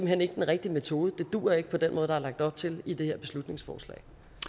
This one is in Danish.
hen ikke den rigtige metode det duer ikke på den måde der er lagt op til i det her beslutningsforslag